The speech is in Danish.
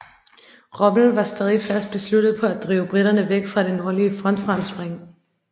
Rommel var stadig fast besluttet på at drive briterne væk fra det nordlige frontfremspring